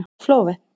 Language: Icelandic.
Flóvent